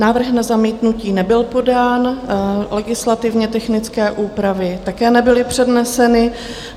Návrh na zamítnutí nebyl podán, legislativně technické úpravy také nebyly předneseny.